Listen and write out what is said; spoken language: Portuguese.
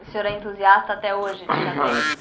O senhor é entusiasta até hoje de xadrez?